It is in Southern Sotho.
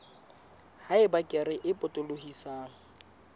ha eba kere e potolohisang